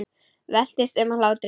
Veltist um af hlátri.